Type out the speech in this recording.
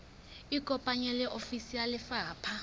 ikopanye le ofisi ya lefapha